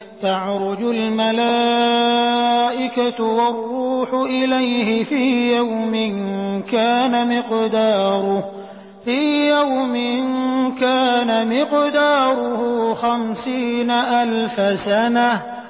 تَعْرُجُ الْمَلَائِكَةُ وَالرُّوحُ إِلَيْهِ فِي يَوْمٍ كَانَ مِقْدَارُهُ خَمْسِينَ أَلْفَ سَنَةٍ